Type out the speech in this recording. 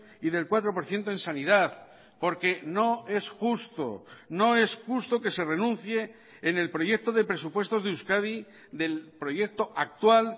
y del cuatro por ciento en sanidad porque no es justo no es justo que se renuncie en el proyecto de presupuestos de euskadi del proyecto actual